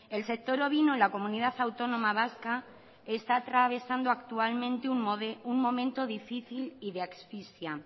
el sector ovino en la comunidad autónoma vasca está atravesando un momento difícil y de asfixia